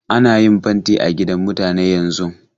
Ana yin fanti a gidan mutane yanzun.